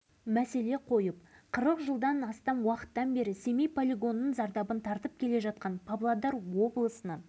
соңғы бір жарым жылдың ішінде павлодар облысының басшылары қорғаныс министрлігінің өзіміздің республика басшыларының алдында бірнеше рет